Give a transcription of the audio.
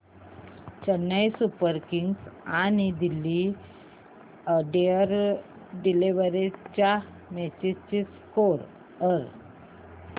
Chennai Super Kings आणि Delhi Daredevils च्या match चा स्कोअर